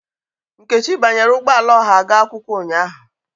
Nkechi banyere ụgbọ ala ọha ga akwụkwọ ụnyahụ.